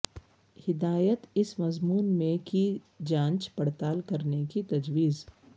ہدایت اس مضمون میں کی جانچ پڑتال کرنے کی تجویز